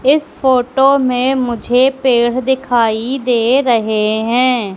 इस फोटो में मुझे पेड़ दिखाई दे रहे हैं।